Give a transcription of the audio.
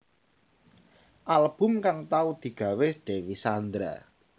Album kang tau digawé Dewi Sandra